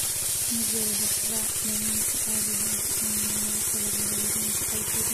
Ma jiro hab-raac daawaynta caadiga ah oo loogu talagalay yaraanta IBD.